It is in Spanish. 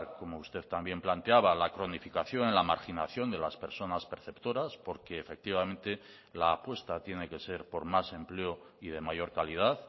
como usted también planteaba la cronificación en la marginación de las personas perceptoras porque efectivamente la apuesta tiene que ser por más empleo y de mayor calidad